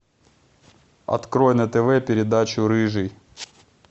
открой на тв передачу рыжий